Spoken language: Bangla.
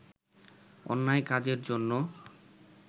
অন্যায় কাজের জন্যে